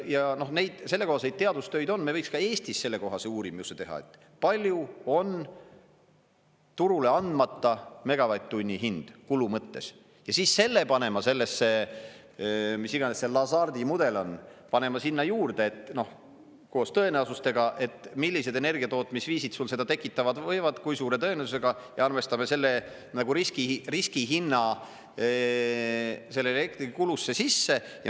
Ja neid, sellekohaseid teadustöid on, me võiks ka Eestis sellekohase uurimuse teha, palju on turule andmata megavatt-tunni hind kulu mõttes, ja siis selle panema sellesse, mis iganes see … mudel on, sinna juurde, noh, koos tõenäosusega, et millised energiatootmisviisid sul seda tekitada võivad, kui suure tõenäosusega, ja arvestame selle nagu riskiriskihinna sellesse elektrikulusse sisse.